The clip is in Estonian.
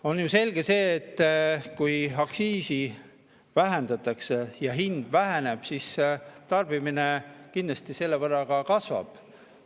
On ju selge, et kui aktsiisi vähendatakse ja hind väheneb, siis tarbimine kindlasti selle võrra kasvab.